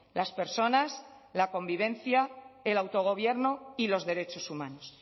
las personas la convivencia el autogobierno y los derechos humanos